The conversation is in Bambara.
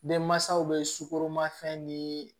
Denmansaw bɛ sukoromafɛn ni